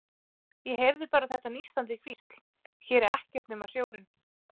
Ég heyrði bara þetta nístandi hvísl: Hér er ekkert nema sjórinn.